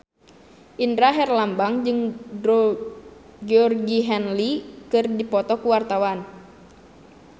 Indra Herlambang jeung Georgie Henley keur dipoto ku wartawan